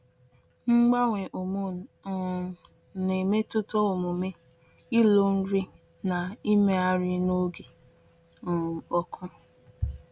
Mgbanwe hormone um na-emetụta omume, ilo nri, na imegharị n’oge um ọkụ.